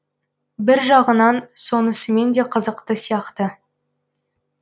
бір жағынан сонысымен де қызықты сияқты